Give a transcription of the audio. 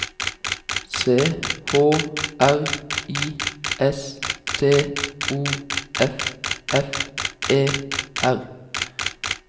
C H R I S T O F F E R